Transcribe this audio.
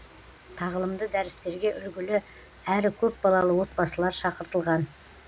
тағылымды дәрістерге үлгілі әрі көпбалалы отбасылар шақыртылған